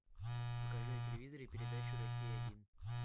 покажи на телевизоре передачу россия один